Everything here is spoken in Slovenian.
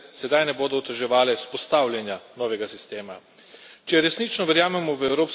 Upam vsaj, da države članice sedaj ne bodo oteževale vzpostavljanja novega sistema.